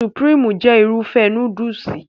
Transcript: Supirimu jẹ́ Irúfẹ́ núdùsì